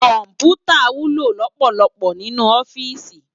Kòmpútá wúló lòpòlòpò ninú òfìsí